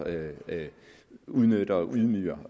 udnytter og ydmyger